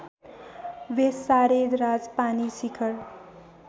वेसारे राजपानी शिखर